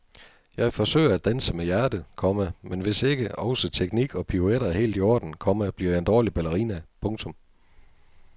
Jeg forsøger at danse med hjertet, komma men hvis ikke også teknik og pirouetter er helt i orden, komma bliver jeg en dårlig ballerina. punktum